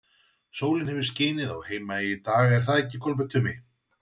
Sólin hefur skinið á Heimaey í dag, er það ekki, Kolbeinn Tumi?